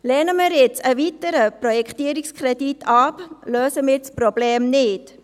Lehnen wir nun einen weiteren Projektierungskredit ab, lösen wir das Problem nicht.